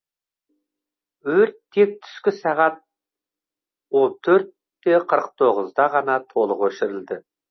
өрт тек түскі сағат он төрт те қырық тоғызда ғана толық өшірілді